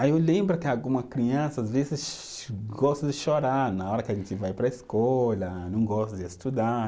Aí eu lembro que alguma criança às vezes gosta de chorar na hora que a gente vai para a escola, não gosta de estudar.